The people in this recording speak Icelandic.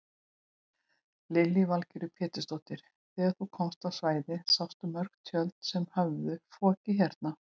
Lillý Valgerður Pétursdóttir: Þegar þú komst á svæðið sástu mörg tjöld sem höfðu fokið hérna?